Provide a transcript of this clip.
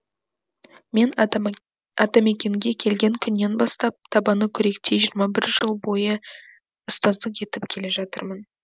мен атамакенге келген күннен бастап табаны күректей жиырма бір жыл бойы ұстаздық етіп келе жатырмын